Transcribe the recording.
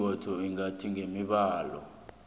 ikhotho ingathi ngesibawo